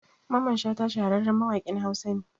Mamman Shata shahararren mawaƙin Hausa ne